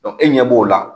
e ɲɛ b'o la